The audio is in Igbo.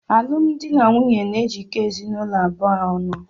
Alụmdi na nwunye na-ejikọta ezinụlọ abụọ ọnụ.